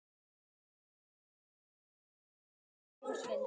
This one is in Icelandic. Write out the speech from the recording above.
En hún losnar ekki undan þeim.